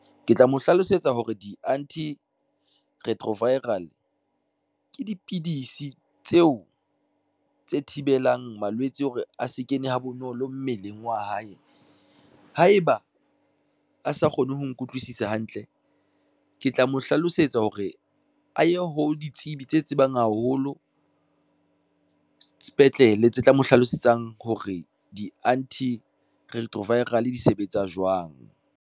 Ke tla mo hlalosetsa hore di-antiretroviral, ke dipidisi tseo, tse thibelang malwetse hore a se kene ha bonolo mmeleng wa hae, haeba a sa kgone ho nkutlwisisa hantle, ke tla mo hlalosetsa hore aye ho ditsebi tse tsebang haholo sepetlele tse tla mo hlalosetsang hore di-antiretroviral di sebetsa jwang.